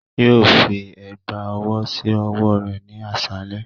Yoo fi ẹgba ọwọ si ọwọ rẹ ni aṣalẹ.